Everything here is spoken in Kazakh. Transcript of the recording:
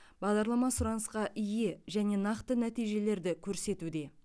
бағдарлама сұранысқа ие және нақты нәтижелерді көрсетуде